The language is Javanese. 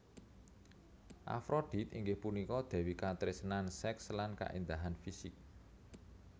Afrodit inggih punika dèwi katresnan sèks lan kaéndahan fisik